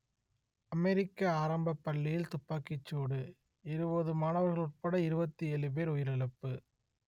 அமெரிக்க ஆரம்பப் பள்ளியில் துப்பாக்கிச் சூடு இருபது மாணவர்கள் உட்பட இருபத்தி ஏழு பேர் உயிரிழப்பு